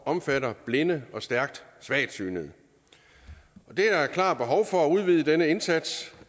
omfatter blinde og stærkt svagsynede der er klart behov for at udvide denne indsats